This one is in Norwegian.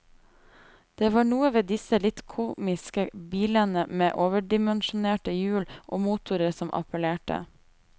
Det var noe ved disse litt komiske bilene med overdimensjonerte hjul og motorer som appellerte.